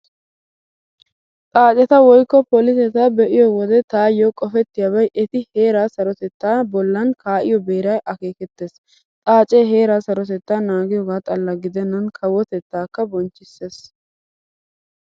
Xaaceta woykko poliseta be'iyo wode taayyo qopettiyaabay eti heeraa sarotettaa bollan kaa'iyo beeraa akeekettees. Xaacee heeraa sarotettaa naagiyoogaa xalla gidennan kawotettaakka bonchchissees.